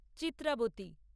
Chitravati